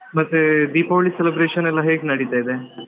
ಮತ್ತೆ ದೀಪಾವಳಿ celebration ಎಲ್ಲ ಹೇಗ್ ನಡೀತಾ ಇದೆ.